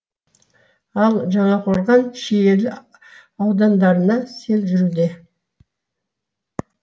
ал жаңақорған шиелі аудандарында сел жүруде